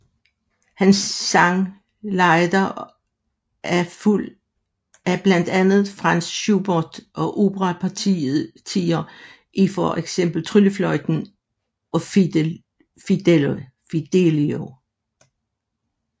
Han sang lieder af blandt andet Franz Schubert og operapartier i for eksempel Tryllefløjten og Fidelio